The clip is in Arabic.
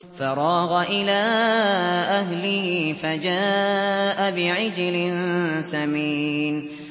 فَرَاغَ إِلَىٰ أَهْلِهِ فَجَاءَ بِعِجْلٍ سَمِينٍ